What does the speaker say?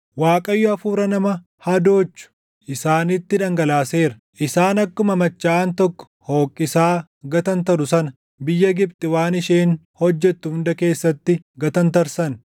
Waaqayyo hafuura nama hadoochu isaanitti dhangalaaseera; isaan akkuma machaaʼaan tokko hoqqisaa gatantaru sana biyya Gibxi waan isheen hojjettu hunda keessatti // gatantarsan.